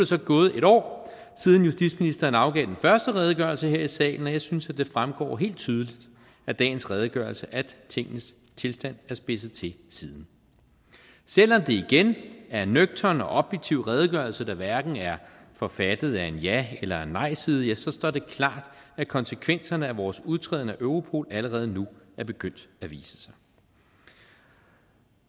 så gået et år siden justitsministeren afgav den første redegørelse her i salen og jeg synes det fremgår helt tydeligt af dagens redegørelse at tingenes tilstand er spidset til siden selv om det igen er en nøgtern og objektiv redegørelse der hverken er forfattet af en ja eller en nejside så står det klart at konsekvenserne af vores udtræden af europol allerede nu er begyndt at vise sig